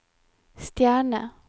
stjerne